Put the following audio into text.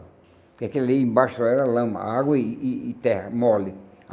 Porque aquilo ali embaixo era lama, água e e e terra, mole.